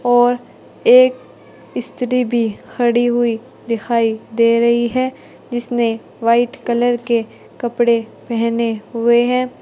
और एक स्त्री भी खड़ी हुई दिखाई दे रही है जिसने व्हाइट कलर के कपड़े पेहने हुए हैं।